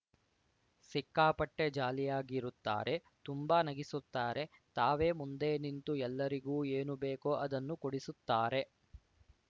ಸಿಕ್ಕಾಪಟ್ಟೆಜಾಲಿಯಾಗಿ ಇರುತ್ತಾರೆ ತುಂಬಾ ನಗಿಸುತ್ತಾರೆ ತಾವೇ ಮುಂದೆ ನಿಂತು ಎಲ್ಲರಿಗೂ ಏನು ಬೇಕೋ ಅದನ್ನು ಕೊಡಿಸುತ್ತಾರೆ